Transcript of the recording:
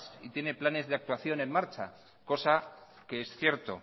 y tiene planes de actuación en marcha cosa que es cierto